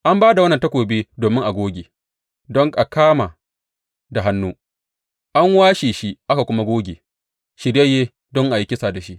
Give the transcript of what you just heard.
An ba da wannan takobi don a goge, don a kama da hannu; an washe shi aka kuma goge, shiryayye don a yi kisa da shi.